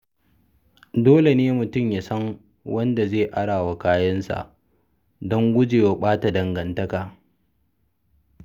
Dole ne mutum ya san wanda zai ara wa kayansa don gujewa ɓata dangantaka.